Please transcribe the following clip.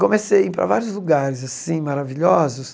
Comecei a ir para vários lugares assim maravilhosos.